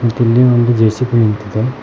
ಮತ್ತ್ ಇಲ್ಲಿ ಒಂದು ಜೆ_ಸಿ_ಪಿ ನಿಂತಿದೆ